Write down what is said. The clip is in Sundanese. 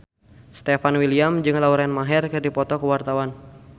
Stefan William jeung Lauren Maher keur dipoto ku wartawan